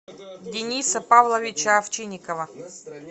дениса павловича овчинникова